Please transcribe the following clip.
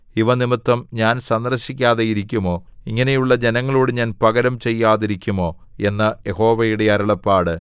ഇവ നിമിത്തം ഞാൻ സന്ദർശിക്കാതെ ഇരിക്കുമോ ഇങ്ങനെയുള്ള ജനങ്ങളോട് ഞാൻ പകരം ചെയ്യാതിരിക്കുമോ എന്ന് യഹോവയുടെ അരുളപ്പാട്